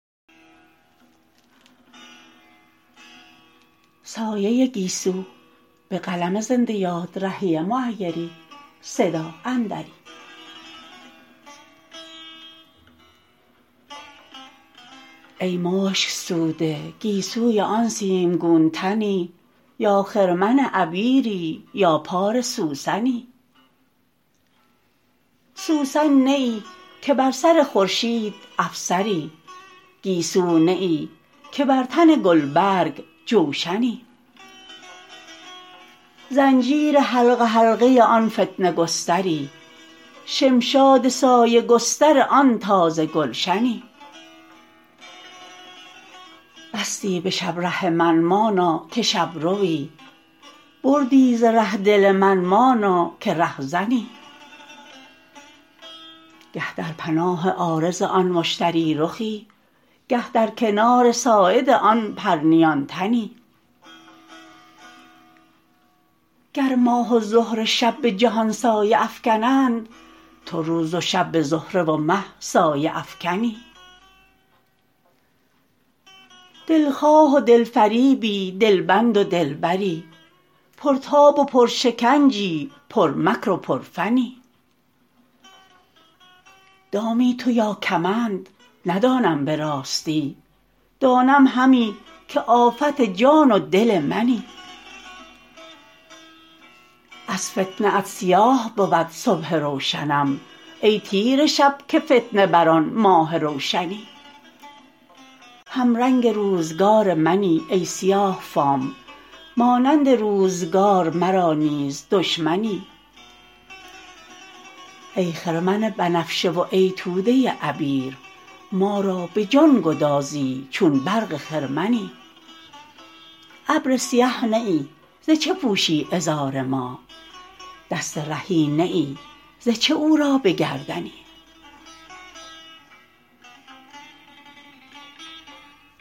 ای مشک سوده گیسوی آن سیمگون تنی یا خرمن عبیری یا پار سوسنی سوسن نه ای که بر سر خورشید افسری گیسو نه ای که بر تن گلبرگ جوشنی زنجیر حلقه حلقه آن فتنه گستری شمشاد سایه گستر آن تازه گلشنی بستی به شب ره من مانا که شبروی بردی ز ره دل من مانا که رهزنی گه در پناه عارض آن مشتری رخی گه در کنار ساعد آن پرنیان تنی گر ماه و زهره شب به جهان سایه افکنند تو روز و شب به زهره و مه سایه افکنی دلخواه و دل فریبی دلبند و دلبری پرتاب و پرشکنجی پرمکر و پرفنی دامی تو یا کمند ندانم به راستی دانم همی که آفت جان و دل منی از فتنه ات سیاه بود صبح روشنم ای تیره شب که فتنه بر آن ماه روشنی همرنگ روزگار منی ای سیاه فام مانند روزگار مرا نیز دشمنی ای خرمن بنفشه و ای توده عبیر ما را به جان گدازی چون برق خرمنی ابر سیه نه ای ز چه پوشی عذار ماه دست رهی نه ای ز چه او را به گردنی